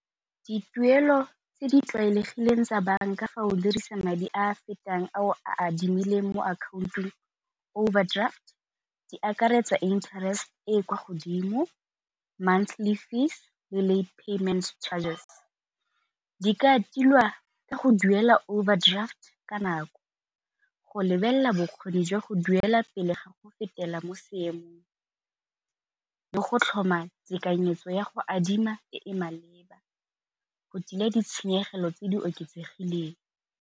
Dituelo tse di tlwaelegileng tsa banka fa o dirisa madi a a fetang ao a adimileng mo akhaontong overdraft, di akaretsa interest e e kwa godimo monthly fees le late payment chargers. Di ka tilwa ka go duela overdraft ka nako, go lebelela bokgoni jwa go duela pele ga go fetela mo seemong le go tlhoma tekanyetso ya go adima e e maleba go tila ditshenyegelo tse di oketsegileng.